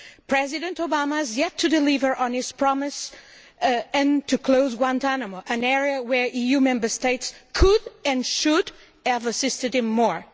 President Obama has yet to deliver on his promise and to close Guantánamo an area where EU Member States could and should have assisted him more.